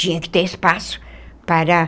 Tinha que ter espaço para